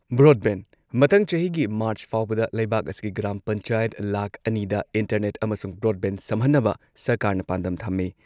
Broadband- ꯃꯊꯪ ꯆꯍꯤꯒꯤ March ꯐꯥꯎꯕꯗ ꯂꯩꯕꯥꯛ ꯑꯁꯤꯒꯤ ꯒ꯭ꯔꯥꯝ ꯄꯟꯆꯥꯌꯠ ꯂꯥꯈ ꯑꯅꯤꯗ ꯏꯟꯇꯔꯅꯦꯠ ꯑꯃꯁꯨꯡ ꯕ꯭ꯔꯣꯗꯕꯦꯟꯗ ꯁꯝꯍꯟꯅꯕ ꯁꯔꯀꯥꯔꯅ ꯄꯥꯟꯗꯝ ꯊꯝꯃꯤ꯫